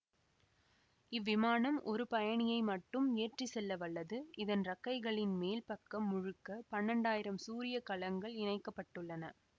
இவ்விமானம் ஒரு பயணியை மட்டும் ஏற்றி செல்ல வல்லது இதன் இறக்கைகளின் மேல் பக்கம் முழுக்க பன்னெண்டாயிரம் சூரிய கலங்கள் இணைக்க பட்டுள்ளன